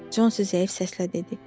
Consi zəif səslə dedi.